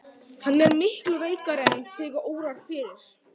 Hann er miklu veikari en þig órar fyrir.